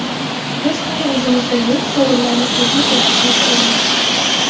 Biz hali o‘zimizda yo‘q sovrinlarni qo‘lga kiritishni istaymiz.